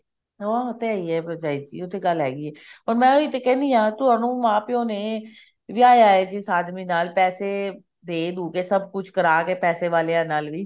ਹਾਂ ਉਹ ਤੇ ਹੈ ਹੀ ਹੈ ਭਰਜਾਈ ਜੀ ਉਹ ਤੇ ਗੱਲ ਹੈਗੀ ਹੈ ਪਰ ਮੈਂ ਉਹੀ ਤੇ ਕਹਿਣੀ ਹਾਂ ਤੁਹਾਨੂੰ ਮਾਂ ਪਿਓ ਨੇ ਵਿਆਹਾ ਹੈ ਜਿਸ ਆਦਮੀ ਨਾਲ ਪੈਸੇ ਦੇ ਦੁਕੇ ਸਭ ਕੁਝ ਕਰਾ ਕੇ ਪੈਸੇ ਵਾਲਿਆਂ ਨਾਲ ਵੀ